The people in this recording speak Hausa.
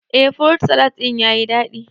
Eh furut salad ɗin yayi daɗi